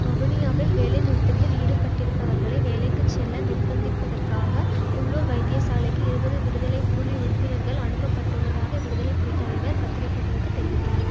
வவுனியாவில் வேலை நிறுத்ததில் ஈடுபட்டிருப்பவர்களை வேலைக்கு செல்ல நிர்ப்பந்திப்பதற்காக உள்ளூர் வைத்தியசாலைக்கு இருபது விடுதலை புலி உறுப்பினர்கள் அனுப்பப்பட்டுள்ளதாக விடுதலை புலி தலைவர் பத்திரிகைகளுக்கு தெரிவித்தார்